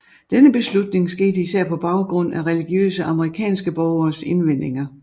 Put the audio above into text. Denne beslutning skete især på baggrund af religiøse amerikanske borgeres indvendinger